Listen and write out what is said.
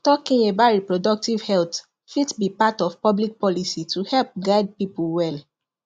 talking about reproductive health fit be part of public policy to help guide people well